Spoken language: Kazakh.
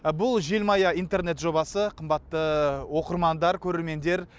бұл желмая интернет жобасы қымбатты оқырмандар көрермендер